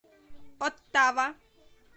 оттава